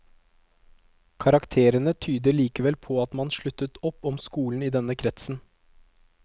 Karakterene tyder likevel på at man sluttet opp om skolen i denne kretsen.